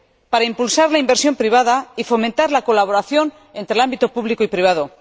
Para impulsar la inversión privada y fomentar la colaboración entre el ámbito público y el privado.